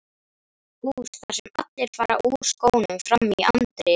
hús þar sem allir fara úr skónum frammi í anddyri.